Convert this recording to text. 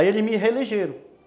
Aí eles me reelegeram.